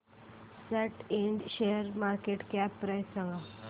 सॅट Ind शेअरची market cap price सांगा